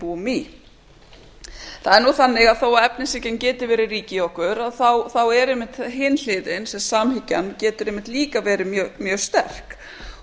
búum það er nú þannig að þó að efnishyggjan geti verið rík í okkur þá er einmitt hin hliðin sem samhyggjan getur eiga verið mjög sterk